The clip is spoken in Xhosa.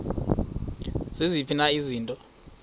ziziphi na izinto